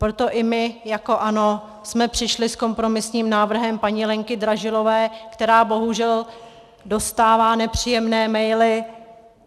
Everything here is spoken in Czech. Proto i my jako ANO jsme přišli s kompromisním návrhem paní Lenky Dražilové, která bohužel dostává nepříjemné maily.